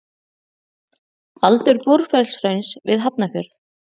Aldur Búrfellshrauns við Hafnarfjörð.